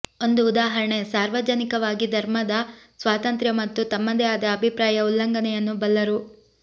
ಒಂದು ಉದಾಹರಣೆ ಸಾರ್ವಜನಿಕವಾಗಿ ಧರ್ಮದ ಸ್ವಾತಂತ್ರ್ಯ ಮತ್ತು ತಮ್ಮದೇ ಆದ ಅಭಿಪ್ರಾಯ ಉಲ್ಲಂಘನೆಯನ್ನು ಬಲ್ಲರು